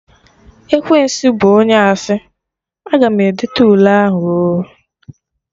Ekwensu bụ onye asị, Aga m edete Ule ahụ oo